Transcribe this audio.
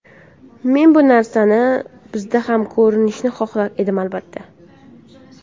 Men bu narsani bizda ham ko‘rishni xohlar edim, albatta.